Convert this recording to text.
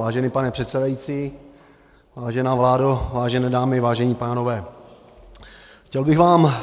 Vážený pane předsedající, vážená vládo, vážené dámy, vážení pánové, chtěl bych vám